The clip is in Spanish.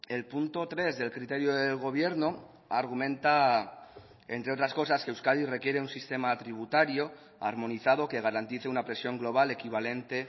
el punto tres del criterio del gobierno argumenta entre otras cosas que euskadi requiere un sistema tributario armonizado que garantice una presión global equivalente